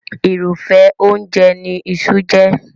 Irúfẹ́ oúnjẹ ní iṣu jẹ́.